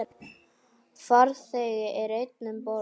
Farþegi er einn um borð.